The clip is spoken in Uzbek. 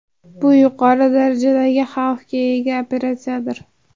Bu yuqori darajadagi xavfga ega operatsiyadir.